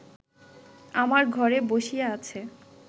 আমার ঘরে বসিয়া আছে